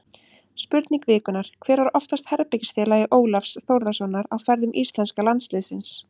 Spurning vikunnar: Hver var oftast herbergisfélagi Ólafs Þórðarsonar á ferðum íslenska landsliðsins?